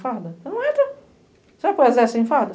Farda. Você não entra Você vai para o exército sem farda?